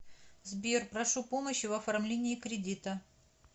сбер прошу помощи в оформлении кредита